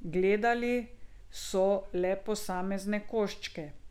Gledali so le posamezne koščke.